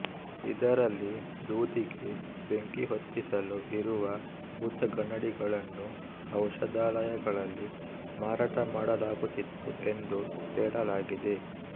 ಇದರಲ್ಲಿ ದೂದಿಗೆ ಬೆಂಕಿಹೊತ್ತಿಸಲು ಇರುವ ಭೂತಗನ್ನಡಿಗಳನ್ನು ಔಷಧಾಲಯಗಳಲ್ಲಿ ಮಾರಾಟಮಾಡಲಾಗುತ್ತಿತ್ತು ಎಂದು ಹೇಳಲಾಗಿದೆ